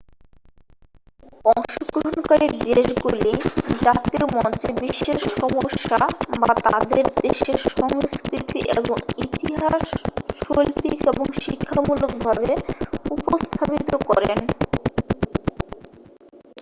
অংশগ্রহণকারী দেশগুলি জাতীয় মঞ্চে বিশ্বের সমস্যা বা তাঁদের দেশের সংস্কৃতি এবং ইতিহাস শৈল্পিক এবং শিক্ষামূলক ভাবে উপস্থাপিত করেন